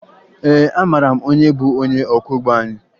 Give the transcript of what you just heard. Ee, amara m onye bụ onye ọkwọụgbọ anyị